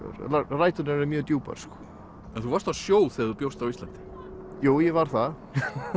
ræturnar eru mjög djúpar en þú varst á sjó þegar þú bjóst á Íslandi jú ég var það